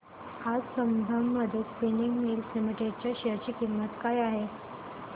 आज Sambandam spinning mills limited च्या share ची किंमत काय आहे हे सांगा